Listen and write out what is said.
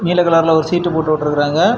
நீல கலர்ல ஒரு ஷீட் போட்டு உட்ருக்காங்க.